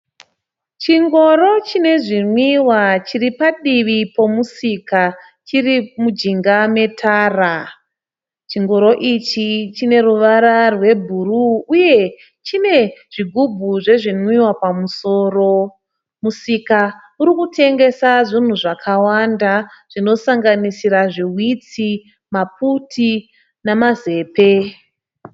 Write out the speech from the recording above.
Chingoro chine zvinwiwa chiri padivi pomusika chiri mujinga metara. Chingoro ichi chineruvara rwe bhuru uye chine zvigubhu zvezvinwiwa pamusoro. Musika urikutengesa zvinhu zvakawanda zvinosanganisira zviwitsi , maputi nama zepe.